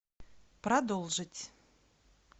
продолжить